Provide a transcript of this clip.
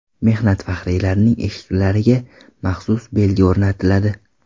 Mehnat faxriylarining eshiklariga maxsus belgi o‘rnatiladi.